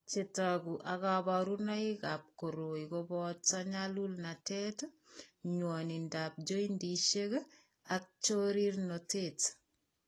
Chetogu ak kaborunoik ab koroi koboto nyalulnatet, nywonindab joindisiek ak chorirnotet